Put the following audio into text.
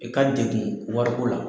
I ka degun wariko la.